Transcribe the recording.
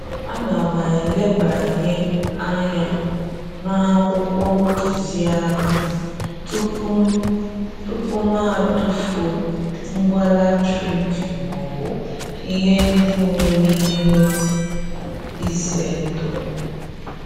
Ana m elebanye anya n'akwụkwọ ntụziaka tupu m tupu m tufuo ngwa latrik maọbụ ihe ndị nwere ihe ize ndụ.